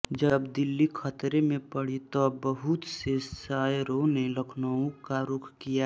जब दिल्ली खतरे में पड़ी तब बहुत से शयरों ने लखनऊ का रुख किया